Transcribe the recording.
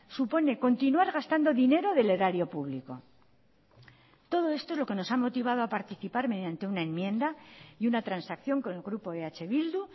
supone continuar gastando dinero del erario público todo esto es lo que nos ha motivado a participar mediante una enmienda y una transacción con el grupo eh bildu